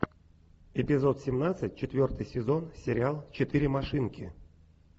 эпизод семнадцать четвертый сезон сериал четыре машинки